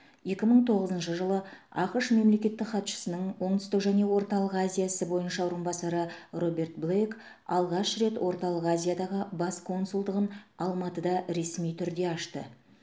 екі мың тоғызыншы жылы ақш мемлекеттік хатшысының оңтүстік және орталық азия ісі бойынша орынбасары роберт блейк алғаш рет орталық азиядағы бас консулдығын алматыда ресми түрде ашты